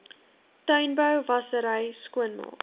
tuinbou wassery skoonmaak